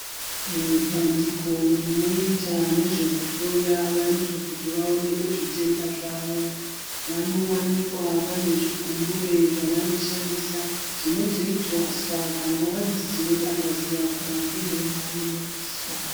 Mubandiko rinoita nezvekuhloya vantu kuti vaonekwe zvitenda zvavo vanowanikwa vanezvikumbure zvavanoshandisa zvinozoiswa kana wazi tinoda ngazi yako ndimo mainoiswa.